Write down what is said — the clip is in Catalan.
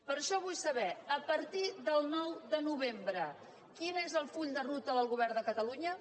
per això vull saber a partir del nou de novembre quin és el full de ruta del govern de catalunya